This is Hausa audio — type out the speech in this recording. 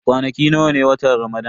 Kwanaki nawa ne a watan Ramadan?